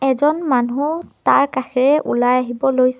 এজন মানুহ তাৰ কাষেৰে ওলাই আহিব লৈছে।